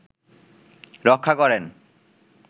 রক্ষা করেন